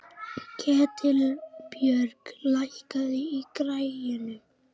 Ketilbjörg, lækkaðu í græjunum.